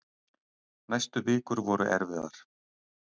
Næstu vikur voru erfiðar.